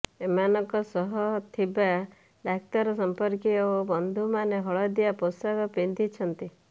ଏମାନଙ୍କ ସହ ଥିବା ଡାକ୍ତର ସମ୍ପର୍କୀୟ ଓ ବନ୍ଧୁମାନେ ହଳଦିଆ ପୋଷାକ ପିନ୍ଧିଛନ୍ତି